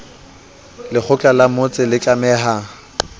lekgotla la motse le tlameha